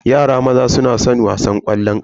Yara maza suna san wasan ƙwallon ƙafa.